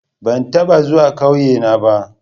Ban taba zuwa kauyena ba.